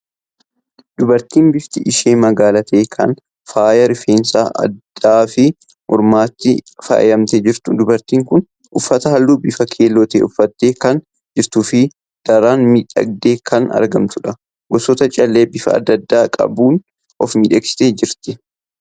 Dubartii bifti ishee magaala ta'e kan faaya rifeensaa, addaa fi mormaatiin faayamtee jirtu. Dubartiin kun uffata halluu bifa keelloo ta'e uffattee kan jirtuu fi daran miidhagdee kan argamtudha. Gosoota callee bifa adda addaa qabuun of miidhagsitee jirti.